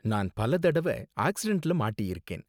நான் பல தடவ ஆக்சிடென்ட்ல மாட்டியிருக்கேன்.